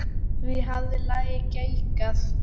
Hví hafði lagið geigað?